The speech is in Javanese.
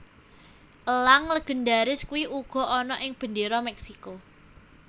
Elang legendaris kui uga ana ing bendera Meksiko